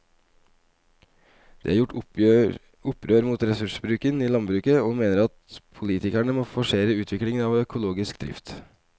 De har gjort opprør mot ressursbruken i landbruket og mener at politikerne må forsere utviklingen av økologisk drift.